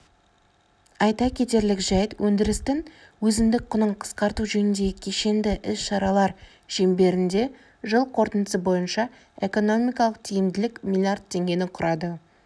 айта кетерлік жәйт өндірістің өзіндік құнын қысқарту жөніндегі кешенді іс-шаралар шеңберінде жыл қорытындысы бойынша экономикалық тиімділік млрд теңгені құрады